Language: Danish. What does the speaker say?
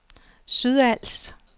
Sydals